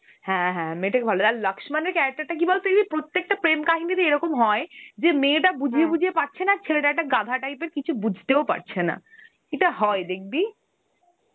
হ্যা হ্যা, মেয়ে টা ভালো. আর লাস্কমানের character টা কি বলতো, প্রতেকটা প্রেম কাহিনিতেই এরম হয় যে মেটা বুঝিয়ে বুঝিয়ে পারছেনা, আর ছেলেটা একটা গাধা type এর কিছু বুঝতেও পারছেনা. এটা হয় দেখবি.